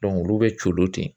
olu bɛ coolo ten